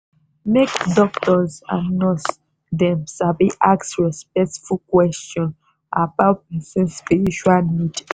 make doctors and nurse dem sabi ask respectful question about person spiritual need